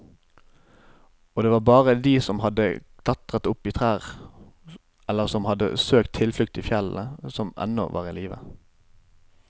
Og det var bare de som hadde klatret opp i trær eller som hadde søkt tilflukt i fjellene, som ennå var i live.